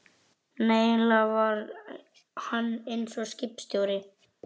Nei, eiginlega var hann eins og skipstjóri.